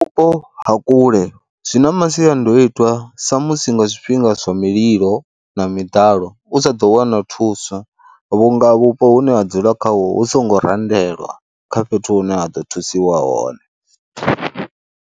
Vhupo ha kule zwi na masiandoitwa samusi nga zwifhinga zwa mililo na miḓalo u sa ḓo wana thuso vhunga vhupo hune ha dzula khaho hu songo randelwa kha fhethu hune ha ḓo thusiwa hone.